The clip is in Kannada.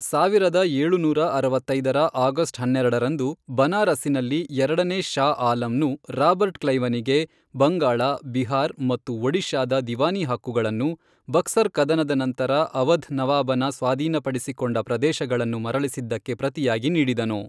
ಸಾವಿರದ ಏಳುನೂರ ಅರವತ್ತೈದರ ಆಗಸ್ಟ್ ಹನ್ನೆರಡರಂದು, ಬನಾರಸ್ಸಿನಲ್ಲಿ ಎರಡನೇ ಷಾ ಆಲಂನು ರಾಬರ್ಟ್ ಕ್ಲೈವನಿಗೆ, ಬಂಗಾಳ, ಬಿಹಾರ್ ಮತ್ತು ಒಡಿಶಾದ ದಿವಾನಿ ಹಕ್ಕುಗಳನ್ನು, ಬಕ್ಸರ್ ಕದನದ ನಂತರ ಅವಧ್ ನವಾಬನ ಸ್ವಾಧೀನಪಡಿಸಿಕೊಂಡ ಪ್ರದೇಶಗಳನ್ನು ಮರಳಿಸಿದ್ದಕ್ಕೆ ಪ್ರತಿಯಾಗಿ ನೀಡಿದನು.